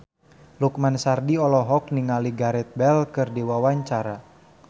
Lukman Sardi olohok ningali Gareth Bale keur diwawancara